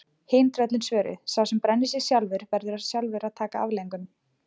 Hin tröllin svöruðu: Sá sem brennir sig sjálfur, verður sjálfur að taka afleiðingunum